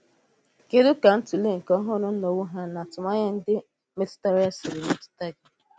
Kédù ka ntụ̀lè nke ọhụ́rụ́ nnwògha na atụmànyà ndị metụtara ya sìrì metụta gị?